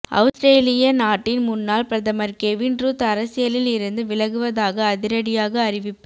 அவுஸ்திரேலிய நாட்டின் முன்னாள் பிரதமர் கெவின் ருத் அரசியலில் இருந்து விலகுவதாக அதிரடியாக அறிவிப்பு